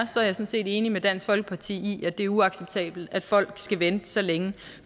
sådan set enig med dansk folkeparti i at det er uacceptabelt at folk skal vente så længe